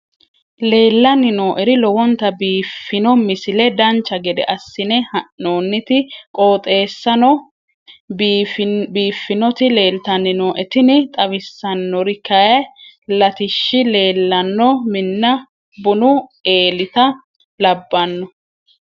leellanni nooeri lowonta biiffino misile dancha gede assine haa'noonniti qooxeessano biiffinoti leeltanni nooe tini xawissannori kayi latiishshi leellanno minna bunu eelita labbanno